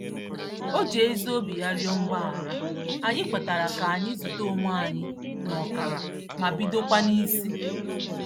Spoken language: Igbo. O ji ezi obi ya rịọ mgbaghara, anyị kwetara ka anyị zute onwe anyị n'ọkara ma bidokwa n'isi.